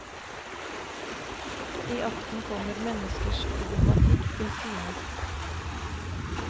I akten kommer menneskers problematikk til syne.